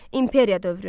İmperiya dövrü.